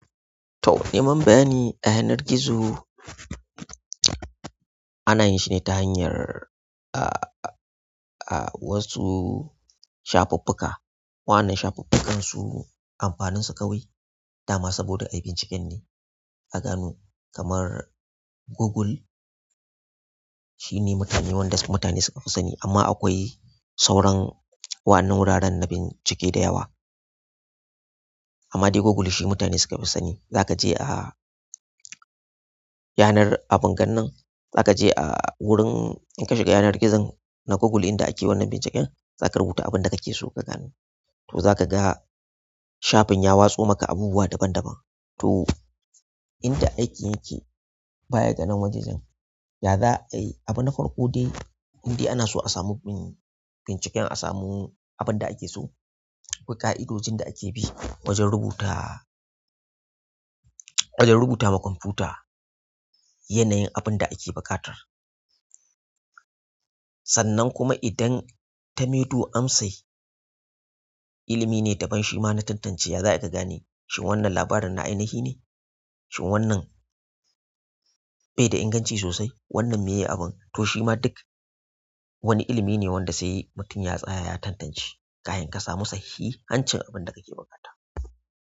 To, nemar bayani a yanar gizo ana yin shi ne ta hanyar, ah, ah, wasu shafuffuka. Wa'annan shafukan su amfanin su kawai dama saboda ayi binciken ne a gano. Kamar Google, shine wanda mutani sukafi sani. Amma akwai sauran wa'annan wuraren na bincike da yawa. Amma dai Google shi mutane suka fi sani. Zaka je a yanar abin gannan, za ka je a wurin in ka shiga yanar gizon na Google inda ake wannan binciken, za ka rubuta abin da kake so ka gano. To za ka ga shafin ya watso maka abubuwa daban daban. To, inda aiki yake baya ga nan wajen, ya za a yi? Abin na farko dai inda ana so a samu bin binciken a samu abin da ake so. Akwai ƙa'idodin da ake bi wajen rubuta, wajen rubuta ma kwamfuta yanayin abin da ake buƙatar. Sannan kuma idan ta maido amsai, ilimi ne daban. Shima na tantance ya za'ayi ka gane shima wannan labarin na ainihi ne. Shin wannan bai da inganci sosai? Wannan me ye abun? Ko shima wani ilimi ne wanda sai mutum ya tsaya ya tantance kafin kasamu sahihin abunda kake buƙata.